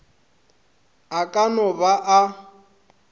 a ka no ba a